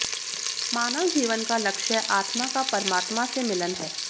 मानव जीवन का लक्ष्य आत्मा का परमात्मा से मिलन है